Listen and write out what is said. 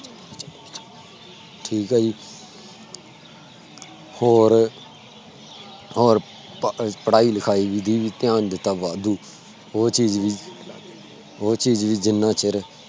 ਠੀਕ ਆ ਜੀ ਹੋਰ ਪੜਾਈ ਲਿਖਾਈ ਤੇ ਵੀ ਦਿਆਨ ਦਿਤਾ। ਵਾਦੁ ਉਹ ਚੀਜ ਵੀ ਉਹ ਚੀਜ ਵੀ ਜਿਨਾ ਚਿਰ